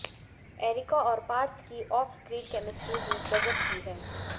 areca और पार्थ की off screen chemistry भी गजब की है